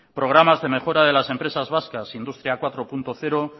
programas de mejora de las empresas vascas industria cuatro punto cero